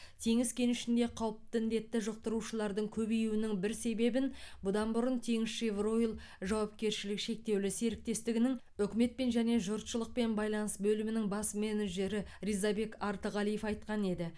теңіз кенішінде қауіпті індетті жұқтырушылардың көбеюінің бір себебін бұдан бұрын теңізшевройл жауапкершілігі шектеулі серіктестігінің үкіметпен және жұртшылықпен байланыс бөлімінің бас менеджері рзабек артығалиев айтқан еді